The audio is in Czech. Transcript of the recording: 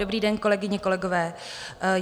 Dobrý den, kolegyně, kolegové.